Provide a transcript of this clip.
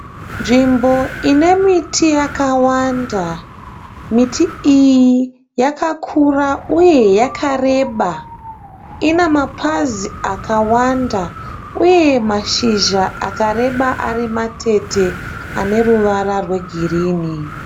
Nzvimbo ine miti yakawanda. Miti iyi yakakura uye yakareba. Ina mapazi akawanda uye mashizha akareba ari matete ane ruvara rwegirini.